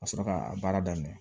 Ka sɔrɔ k'a baara daminɛ